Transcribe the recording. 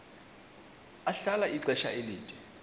ahlala ixesha elide